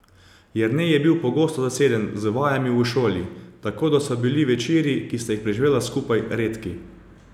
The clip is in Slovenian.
Jernej je bil pogosto zaseden z vajami v šoli, tako da so bili večeri, ki sta jih preživela skupaj, redki.